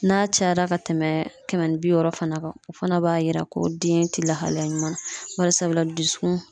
N'a cayara ka tɛmɛ kɛmɛ ni bi wɔɔrɔ fana kan , o fana b'a jira ko den tɛ lahalaya ɲuman na , barisabula dusukun